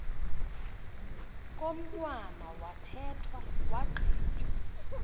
komntwana wathethwa wagqitywa